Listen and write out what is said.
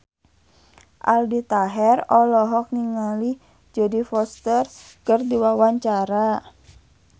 Aldi Taher olohok ningali Jodie Foster keur diwawancara